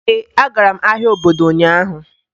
Ee, agara m ahịa obodo ụnyaahụ.